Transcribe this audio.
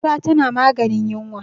fura tana maganin yinwa